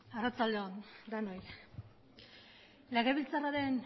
arratsalde on denoi legebiltzarraren